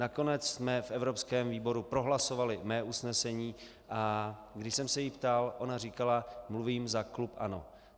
Nakonec jsme v evropském výboru prohlasovali mé usnesení, a když jsem se jí ptal, ona říkala: mluvím za klub ANO.